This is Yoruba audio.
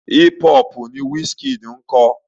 Hip hop ni Wizkid ń kọ.